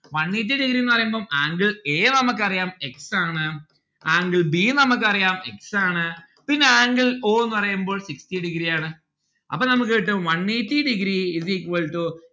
one eighty degree ന്ന് പറയുമ്പം angle a നമ്മുക്ക് അറിയാം x ആണ്. angle b ഉം നമ്മക്ക് അറിയാം x ആണ്. പിന്നെ angle o ന്ന് പറയുമ്പോൾ sixty degree ആണ്. അപ്പം നമ്മക്ക് കിട്ടും one eighty degree is equal to